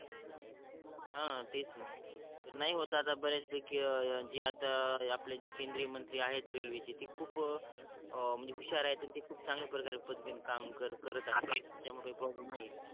हा तेच न नाही होत आता बऱ्याच पैकी जे आता आपले जे केंद्रीय मंत्री आहेत रेल्वे चे ते खूप म्हणजे हुश्यार आहेत आणि ते खूप चांगल्या प्रकारे पद्धती न काम करत आहेत त्याच्यामुळे काही प्रोब्लेम नाही आहे